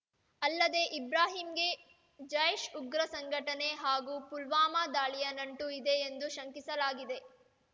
ಅಲ್ಲದೆ ಇಬ್ರಾಹಿಂಗೆ ಜೈಷ್‌ ಉಗ್ರ ಸಂಘಟನೆ ಹಾಗೂ ಪುಲ್ವಾಮಾ ದಾಳಿಯ ನಂಟು ಇದೆ ಎಂದು ಶಂಕಿಸಲಾಗಿದೆ